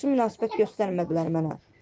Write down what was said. Yaxşı münasibət göstərmədilər mənə.